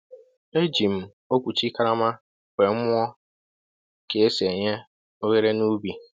E ji m okwuchi karama wéé mụọ ka e sị e nye oghere n'ubi